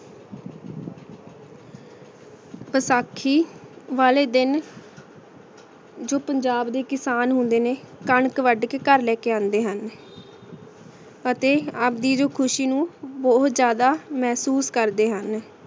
ਵਸਾਖੀ ਵਾਲੇ ਦਿਨ ਜੋ ਪੰਜਾਬ ਦੇ ਕਿਸਾਨ ਹੁੰਦੇ ਨੇ ਕਨਕ ਵਾਦ ਕੇ ਗਹਰ ਲੇ ਕੇ ਆਂਡੇ ਹਨ ਆਤੀ ਆਪਦੀ ਖੁਸ਼ੀ ਨੂ ਬੋਹਤ ਜ਼੍ਯਾਦਾ ਮੇਹ੍ਸੂਸ ਕਰਦੇ ਹਨ